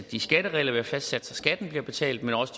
de skatteregler vi har fastsat så skatten bliver betalt men også